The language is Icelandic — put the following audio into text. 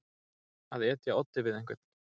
Að etja oddi við einhvern